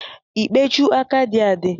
Ikpechu aka dị adị?